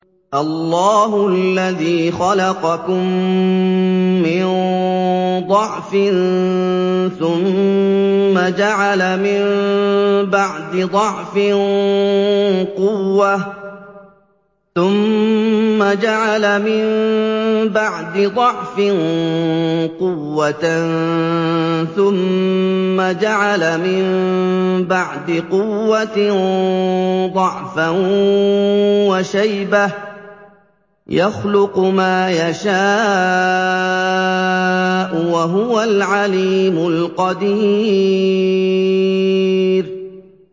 ۞ اللَّهُ الَّذِي خَلَقَكُم مِّن ضَعْفٍ ثُمَّ جَعَلَ مِن بَعْدِ ضَعْفٍ قُوَّةً ثُمَّ جَعَلَ مِن بَعْدِ قُوَّةٍ ضَعْفًا وَشَيْبَةً ۚ يَخْلُقُ مَا يَشَاءُ ۖ وَهُوَ الْعَلِيمُ الْقَدِيرُ